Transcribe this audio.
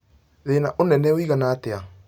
thĩĩna ũnene wĩigana Ĩta